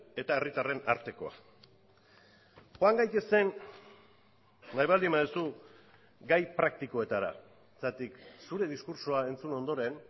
eta herritarren artekoa joan gaitezen nahi baldin baduzu gai praktikoetara zergatik zure diskurtsoa entzun ondoren